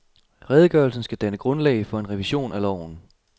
Redegørelsen skal danne grundlag for en revision af loven.